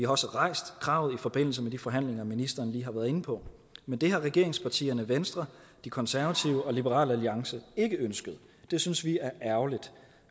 også rejst kravet i forbindelse med de forhandlinger ministeren lige har været inde på men det har regeringspartierne venstre de konservative og liberal alliance ikke ønsket det synes vi er ærgerligt